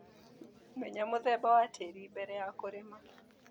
Menya mũthemba wa tĩrĩ mbere ya kũrĩma.